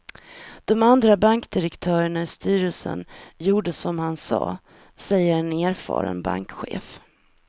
De andra bankdirektörerna i styrelsen gjorde som han sa, säger en erfaren bankchef.